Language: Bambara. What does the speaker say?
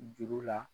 Juru la